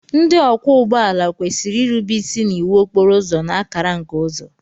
Ndị ọkwọ ụgbọala kwesịrị irube isi n'iwu okporo ụzọ na akara nke uzo.